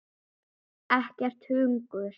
Ekkert hungur.